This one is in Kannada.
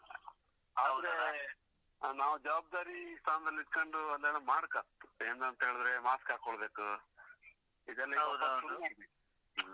ನಾವು ಜವಾಬ್ದಾರಿ ಸ್ಥಾನದಲ್ಲಿ ಇದ್ಕೊಂದು ಅದೆಲ್ಲ ಮಾಡ್ಕತ್. ಏನಂತ ಹೇಳಿದ್ರೆ mask ಹಾಕೊಳ್ಬೇಕು. ಇದೆಲ್ಲ ಸ್ವಲ್ಪ ಶುರು ಮಾಡ್ಬೇಕ್ ಹ್ಮ್.